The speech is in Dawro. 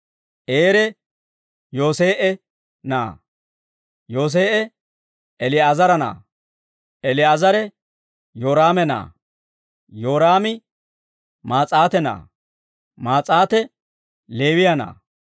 Eere Yoosee'e na'aa; Yoosee'e, Eli'eezera na'aa; Eli'eezere, Yooraame na'aa; Yooraami Maas'aate na'aa; Maas'aate Leewiyaa na'aa;